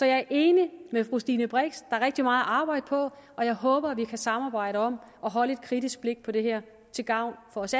er enig med fru stine brix er rigtig meget at arbejde på og jeg håber at vi kan samarbejde om at holde et kritisk blik på det her til gavn for os